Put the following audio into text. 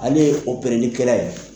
Ale ye kɛ la ye.